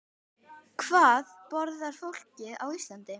Hvað borðar fólk á Íslandi?